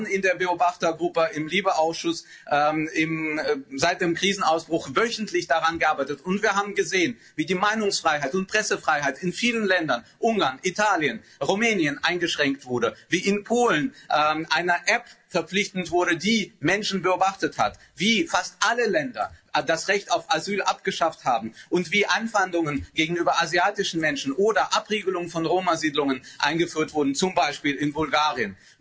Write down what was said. Wir haben in der Beobachtergruppe im LIBE-Ausschluss seit dem Krisenausbruch wöchentlich daran gearbeitet, und wir haben gesehen, wie die Meinungsfreiheit und Pressefreiheit in vielen Ländern Ungarn, Italien, Rumänien eingeschränkt wurde, wie in Polen eine App verpflichtend wurde, die Menschen beobachtet hat, wie fast alle Länder das Recht auf Asyl abgeschafft haben und wie Anfeindungen gegenüber asiatischen Menschen oder Abriegelungen von Roma Siedlungen eingeführt wurden, zum Beispiel in Bulgarien.